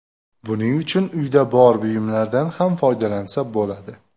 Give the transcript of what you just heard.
Buning uchun uyda bor buyumlardan ham foydalansa bo‘ladi.